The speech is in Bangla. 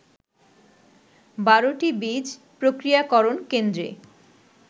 ১২টি বীজ প্রক্রিয়াকরণ কেন্দ্রে